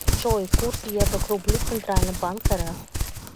джой курс евро к рублю центральный банк рф